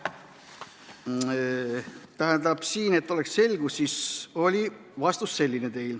Tähendab, et oleks selge, siis oli teie vastus selline.